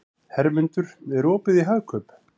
Hermundur, er opið í Hagkaup?